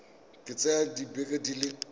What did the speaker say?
ka tsaya dibeke di le